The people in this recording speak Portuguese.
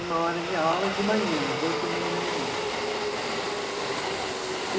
Uma hora de aula de manhã, às oito e meia da manhã. E